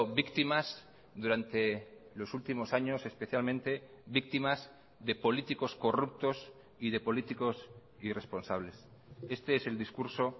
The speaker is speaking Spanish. víctimas durante los últimos años especialmente víctimas de políticos corruptos y de políticos irresponsables este es el discurso